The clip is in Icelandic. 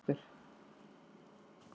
Loftur